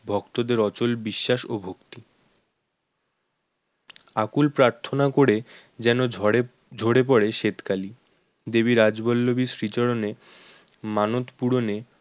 ভক্তদের অচল বিশ্বাস ও ভক্তি আকুল প্রার্থনা করে যেন ঝরে ঝরে পড়ে স্বেতকালী দেবী রাজবল্লবীর শ্রীচরণে মানত পূরণে